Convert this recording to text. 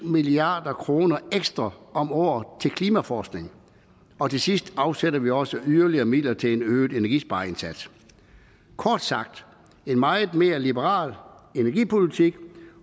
milliard kroner ekstra om året til klimaforskning og til sidst afsætter vi også yderligere midler til en øget energispareindsats kort sagt en meget mere liberal energipolitik